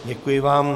Děkuji vám.